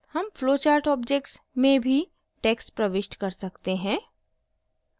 हम flowchart objects में भी text प्रविष्ट कर सकते हैं